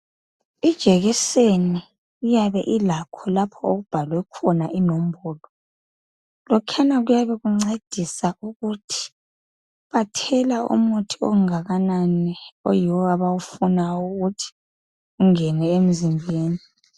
Ijekiseni iyabe ilakho lapho okubhalwe khona inombolo. Lokhuyana kuyabe kuncedisa ukuthi bathela umuthi ongakanani oyiwo abawufunayo ukuthi ungene emzimbeni.